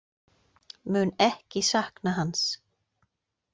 Mun ekki sakna hans.